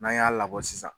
N'an y'a labɔ sisan